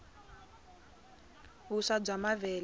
vuswa bya mavele